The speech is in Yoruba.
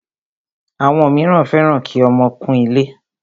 Àwọn míràn fẹ́ràn kí ọmọ kún ilé.